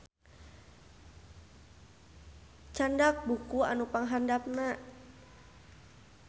Candak buku anu panghandapna